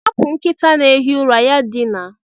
Hapụ nkịta na-ehi ụra ya dinaa